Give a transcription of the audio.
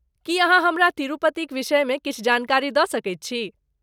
की अहाँ हमरा तिरुपतिक विषयमे किछु जानकारी दऽ सकैत छी?